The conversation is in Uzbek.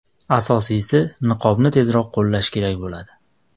Asosiysi niqobni tezroq qo‘llash kerak bo‘ladi.